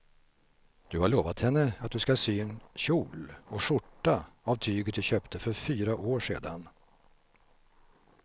Du har lovat henne att du ska sy en kjol och skjorta av tyget du köpte för fyra år sedan.